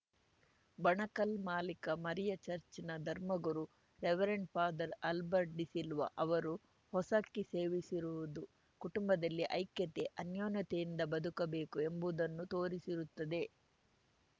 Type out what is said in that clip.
ಬಣಕಲ್‌ ಮಾಲಿಕ ಮರಿಯ ಚಚ್‌ರ್‍ನ ಧರ್ಮಗುರು ರೆವರೆಂಟ್ಫಾದರ್ ಆಲ್ಬರ್ಟ್‌ ಡಿಸಿಲ್ವ ಅವರು ಹೊಸಕ್ಕಿ ಸೇವಿಸಿರುವುದು ಕುಟುಂಬದಲ್ಲಿ ಐಕ್ಯತೆ ಅನ್ಯೂನ್ಯತೆಯಿಂದ ಬದುಕಬೇಕು ಎಂಬುದನ್ನು ತೋರಿಸುತ್ತದೆ